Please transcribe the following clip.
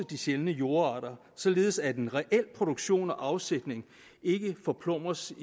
de sjældne jordarter således at en reel produktion og afsætning ikke forplumres